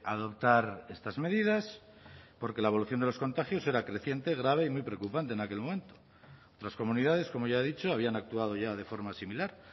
adoptar estas medidas porque la evolución de los contagios era creciente grave y muy preocupante en aquel momento otras comunidades como ya he dicho habían actuado ya de forma similar